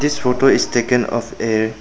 This photo is taken of a --